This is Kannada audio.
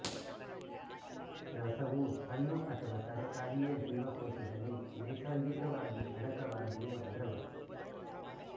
ರಸವು ಹಣ್ಣು ಅಥವಾ ತರಕಾರಿಯ ಜೀವಕೋಶದಲ್ಲಿ ನೈಸರ್ಗಿಕವಾಗಿ ಅಡಕವಾಗಿರುವ ದ್ರವ